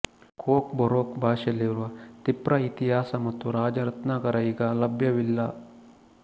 coke Borok ಭಾಷೆಯಲ್ಲಿರುವ ತಿಪ್ರ ಇತಿಹಾಸ ಮತ್ತು ರಾಜರತ್ನಾಕರ ಈಗ ಲಭ್ಯವಿಲ್ಲ